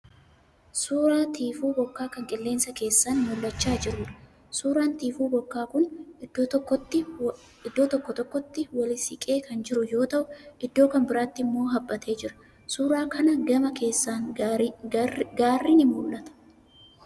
Suuraa tiifuu bokkaa kan qilleensa keessaan mul'achaa jiruudha. Suuraan tiifuu bokkaa kun iddoo tokko tokkotti wali siqee kan jiru yoo ta'u iddoo kan biraatti immoo haphatee jira. Suuraa kana gama keessaan gaarri ni mul'ata.